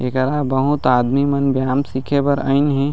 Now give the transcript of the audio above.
एकरा बहुत आदमी मन व्याम सीखे बर आईंन हे।